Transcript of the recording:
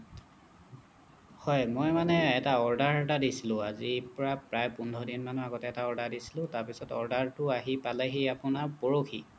হ'য় মই মানে এটা order এটা দিছিলো আজিৰ পৰা প্ৰায় পোন্ধৰ দিন মানৰ আগত এটা order দিছিলো তাৰ পিছত order টো আহি পালেহি আপোনাৰ পৰহি